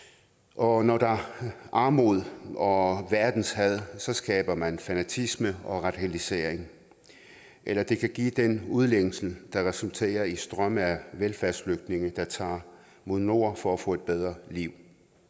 og når der er armod og verdenshad skaber man fanatisme og radikalisering eller det kan give den udlængsel der resulterer i strømme af velfærdsflygtninge der tager mod nord for at få et bedre liv